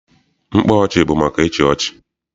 Mkpa ọchị bụ maka ịchị ọchị.